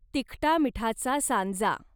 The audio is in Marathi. तिखटामीठाचा सांजा